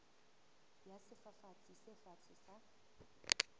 ya sefafatsi se fatshe sa